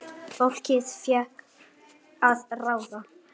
Fólkið fékk að ráða.